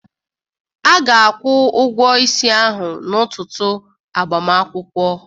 Aga-akwụ ụgwọ isi ahụ n'ụtụtụ agbamakwụkwọ.